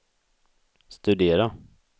studera